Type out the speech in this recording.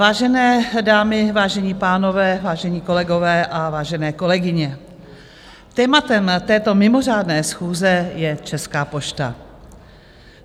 Vážené dámy, vážení pánové, vážení kolegové a vážené kolegyně, tématem této mimořádné schůze je Česká pošta.